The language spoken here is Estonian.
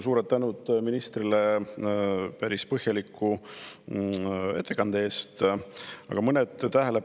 Suur tänu ministrile päris põhjaliku ettekande eest!